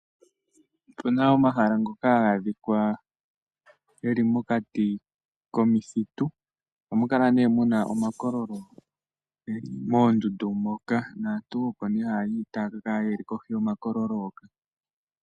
Opena omahala ngoka haga adhika geli mokati komithitu, ohamu kala nee muna omakololo moondundu moka. Naantu oko nee haya yi taya ka kala yeli kohi yo makololo hoka.